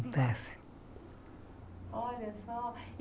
desse Olha só.